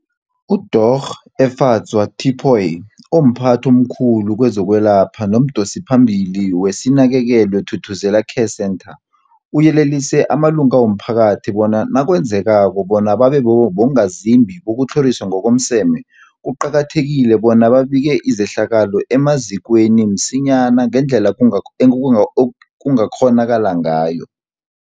UDorh Efadzwa Tipoy, omphathi omkhulu kezokwelapha nomdosiphambili weSinakekelwe Thuthuzela Care Centre, uyelelise amalunga womphakathi bona nakwenzekako bona babe bongazimbi bokutlhoriswa ngokomseme, kuqakathekile bona babike izehlakalo emazikweni msinyana ngendlela kunga enkungak ekungakghonakala ngayo.